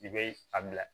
I bɛ a bila